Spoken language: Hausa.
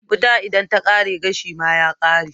Wuta idan ta kare gashi ma ya kare